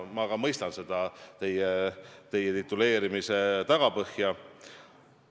Ma ka mõistan selle tituleerimise tagapõhja.